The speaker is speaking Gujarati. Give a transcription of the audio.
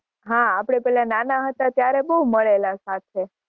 હાં આપણે પેલા નાના હતા ત્યારે બહુ મળેલા સાથે.